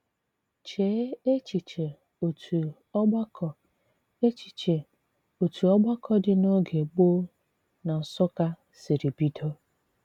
Chee echiche otu ògbàkọ echiche otu ògbàkọ dị n’oge gboo n’Nsụ́kkà siri bido.